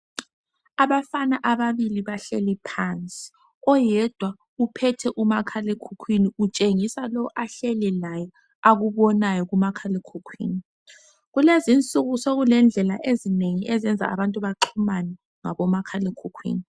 Abafana ababili bahleli phansi. Oyedwa uphethe umakhalekhukhwini. Utshengisa lo, ahleli laye akubonayo kumakhalekhukhwini. Kulezi insuku, sekulendlela ezinengi, ezenza abantu baxhumane, ngabomakhalekhukhwini.